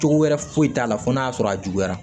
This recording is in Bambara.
Cogo wɛrɛ foyi t'a la fo n'a sɔrɔ a juguyara